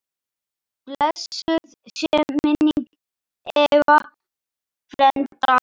Blessuð sé minning Eyva frænda.